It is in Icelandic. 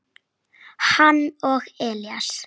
hann og Elísa.